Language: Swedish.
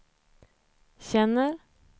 känner